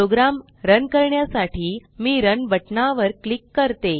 programme run करण्यासाठी मी run बटना वर क्लिक करते